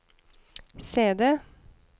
CD